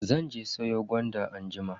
Zan je siyo gwanda anjima.